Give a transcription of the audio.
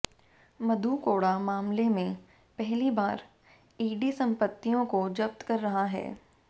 मधु कोड़ा मामले में पहली बार ईडी संपत्तियों को जब्त कर रहा है